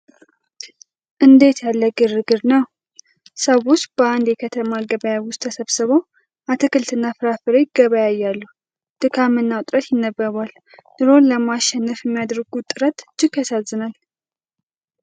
እንዴት ያለ ግርግር ነው! ሰዎች በአንድ የከተማ ገበያ ውስጥ ተሰብስበው አትክልትና ፍራፍሬ ይገበያያሉ፤ ድካምና ውጥረት ይነበባል! ኑሮን ለማሸነፍ የሚያደርጉት ጥረት እጅግ ያሳዝናል!